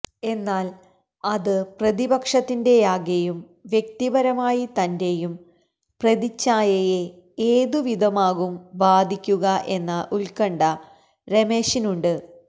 എന്നാല് അത് പ്രതിപക്ഷത്തിന്റെയാകെയും വ്യക്തിപരമായി തന്റെയും പ്രതിഛായയെ ഏതുവിധമാകും ബാധിക്കുക എന്ന ഉത്കണ്ഠ രമേശിനുണ്ട്